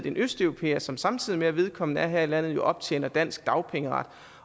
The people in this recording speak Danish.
en østeuropæer som samtidig med at vedkommende er her i landet jo optjener dansk dagpengeret